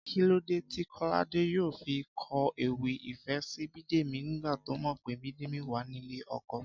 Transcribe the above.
Kí ló dé tí Kọ́ládé yóò fi kọ ewì ìfẹ́ sí Bídèmí nígbà tó mọ̀ pé Bídèmí wà nílé ọkọ?